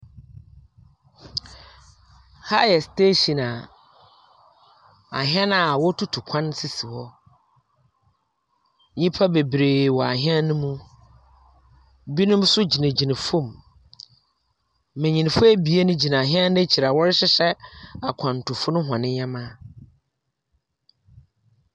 Ha yɛ station a ahyɛn a wotutu kwan sisi hɔ. Nyimpa beberee wɔ ahyɛn no mu. Binom nso gyingyina famu. Mbenyinfo ebien gyina hyɛn no ekyir a wɔrehyehyɛ akwentufo no hɔ ndzɛmba.